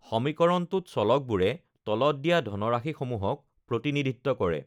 সমীকৰণটোত চলকবোৰে তলত দিয়া ধনৰাশিসমূহক প্ৰতিনিধিত্ব কৰে: